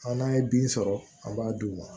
A n'a ye bin sɔrɔ an b'a d'u ma